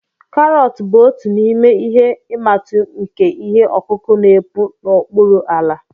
Karọt bụ otu n'ime ihe imatụ nke ihe ọkụkụ n'epu n'okpuru ala